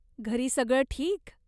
घरी सगळं ठीक?